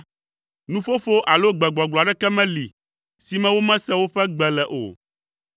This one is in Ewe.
Nuƒoƒo alo gbegbɔgblɔ aɖeke meli si me womese woƒe gbe le o.